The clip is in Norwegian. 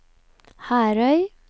Herøy